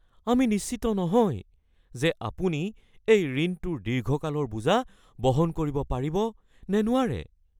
আমি নিশ্চিত নহয় যে আপুনি এই ঋণটোৰ দীৰ্ঘকালৰ বোজা বহন কৰিব পাৰিব নে নোৱাৰে।